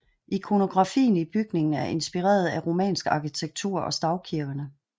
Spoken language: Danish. Ikonografien i bygningen er inspireret af romansk arkitektur og stavkirkene